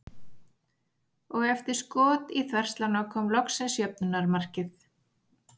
Og eftir skot í þverslána kom loksins jöfnunarmarkið.